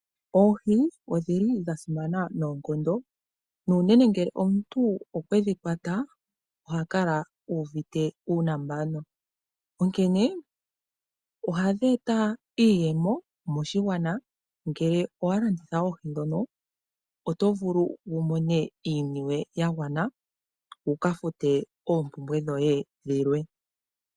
Oohi odhili dha simana noonkondo nuunene ngele omuntu okwe dhi kwata oha kala uuvite uunambano, onkene ohadhi eta iiyemo moshigwana. Ngele owa landitha oohi ndhono oto vulu wu mone iiniwe ya gwana wu ka fute oompumbwe dhoye dhilwe.